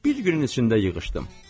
Bir günün içində yığışdım.